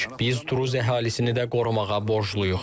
Biz duruz əhalisini də qorumağa borcluyuq.